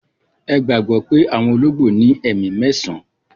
Ẹ gbagbọ pẹ̀ awọn ologbo ni ẹ̀mi mẹ̀san